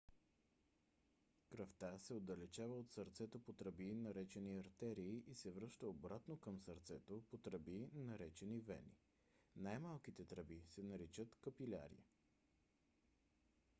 кръвта се отдалечава от сърцето по тръби наречени артерии и се връща обратно към сърцето по тръби наречени вени . най-малките тръби се наричат капиляри